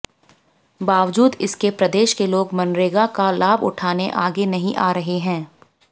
बावजूद इसके प्रदेश के लोग मनरेगा का लाभ उठाने आगे नहीं आ रहे हैं